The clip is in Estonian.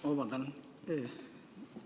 Vabandust!